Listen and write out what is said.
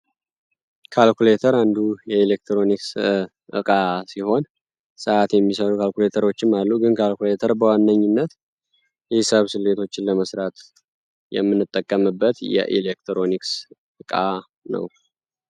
ካልኩሌተር እንዱ የኤሌክትሮኒክስ እቃ ሲሆን፤ ሰአት የሚሰሩ ካልኩሌተሮችም አሉ። ካልኩሌተር በዋነኚነት የሂሳብ ስሌቶችን ለመስራት የምንጠቀምበት የኤሌክትሮኒክስ እቃ ነው።